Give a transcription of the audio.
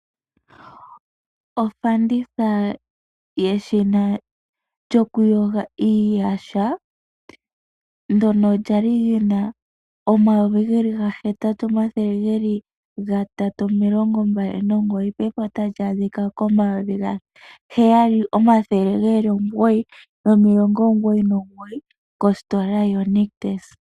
Ofanditha yeshina lyokuyoga iiyaha ndyono lyali lyi na omayovi ge li gahetatu omathele gatatu nomilongo mbali nomugoyi ngaashingeyi otali adhika komayovi gaheyali omathele omugoyi nomilongo omugoyi nomugoyi kositola yoNictus.